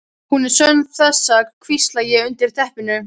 Hún er sönn þessi, hvísla ég undir teppinu.